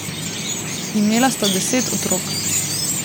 Imela sta deset otrok.